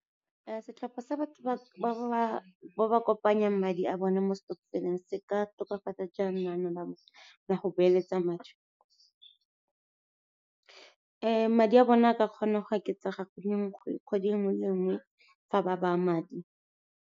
Setlhopha sa batho ba ba kopanyang madi a bone mo stokvel-eng se ka tokafatsa jang lenaneo la me la go beeletsa madi? Madi a bone a ka kgona go oketsaga kgwedi e nngwe le e nngwe fa ba baya madi.